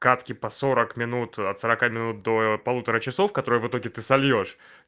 катки по сорок минут от сорока минут до полутора часов которые в итоге ты сольёшь